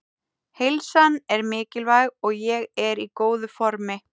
Heilsan er mikilvæg og ég er í góðu formi.